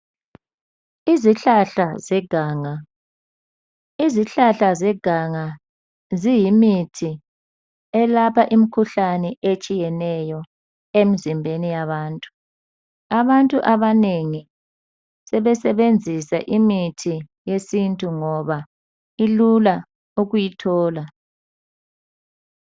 Izihlahla zeganga, izihlahla zeganga ziyimithi elapha imkhuhlane etshiyeneyo emzimbeni yabantu. Abantu abanengi sebesenzisa imithi yesintu ngoba ilula ukuyithola